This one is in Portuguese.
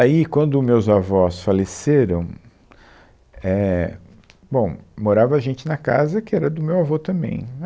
Aí, quando os meus avós faleceram, é, bom, morava gente na casa que era do meu avô também,